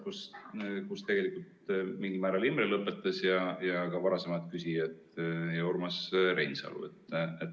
Jaa, ma jätkan mingil määral sealt, kus Imre lõpetas, samuti varasemad küsijad ja Urmas Reinsalu.